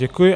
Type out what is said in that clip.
Děkuji.